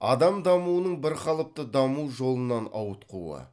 адам дамуының бірқалыпты даму жолынан ауытқуы